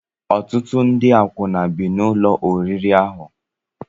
Ọtụtụ ndị akwụna bi n'ụlọ oriri ahụ.